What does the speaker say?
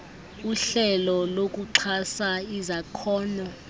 uhlelo lokuxhasa izakhono